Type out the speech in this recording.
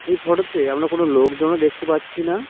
এই ফটোতে আমরা কোন লোকজনও দেখতে পাচ্ছি না।